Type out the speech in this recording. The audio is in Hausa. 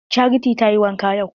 Charity tayi wanka yau?